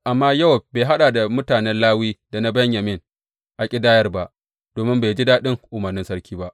Amma Yowab bai haɗa da mutanen Lawi da na Benyamin a ƙidayar ba, domin bai ji daɗin umarnin sarki ba.